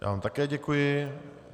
Já vám také děkuji.